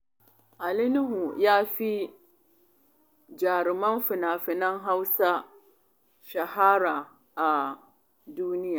Ali Nuhu ya fi jaruman fina-finan Hausa shahara a duniya.